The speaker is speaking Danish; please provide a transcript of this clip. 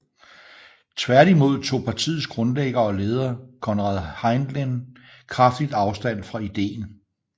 Tværtimod tog partiets grundlægger og leder Konrad Henlein kraftigt afstand fra idéen